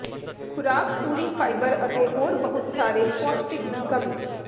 ਖੁਰਾਕ ਪੂਰੀ ਫਾਈਬਰ ਅਤੇ ਹੋਰ ਬਹੁਤ ਸਾਰੇ ਪੌਸ਼ਟਿਕ ਦੀ ਕਮੀ